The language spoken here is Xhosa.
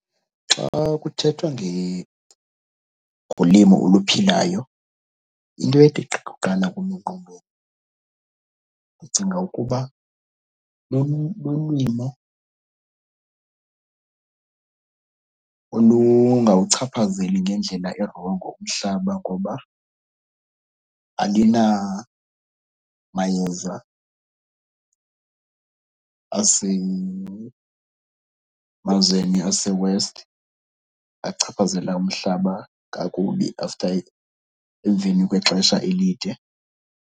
Xa kuthethwa ngolimo oluphilayo into ethi gqi kuqala kum engqondweni ndicinga ukuba lulimo olungawuchaphazeli ngendlela erongo umhlaba ngoba alinamayeza asemazweni aseWest achaphazela umhlaba kakubi after emveni kwexesha elide.